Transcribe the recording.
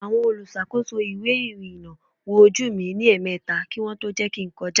Àwọn olùṣàkóso ìwé ìrìnà wo ojú mi ní èèmeta kí wọn tó jẹ́ kin kọjá